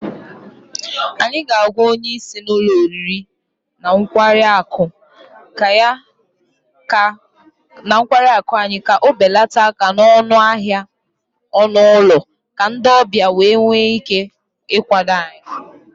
Anyị ga-agwa onye isi ụlọ oriri na nkwari akụ anyị ka ọ belata aka n'ọnụ ahịa ọnụ ụlọ ka ndị ọbịa wee nwee ike ịkwado anyị